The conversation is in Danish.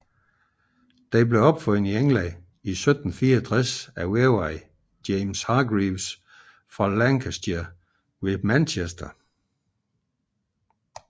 Den blev opfundet i England i 1764 af væveren James Hargreaves fra Lancashire ved Manchester